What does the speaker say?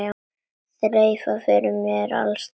Þreifað fyrir mér alls staðar.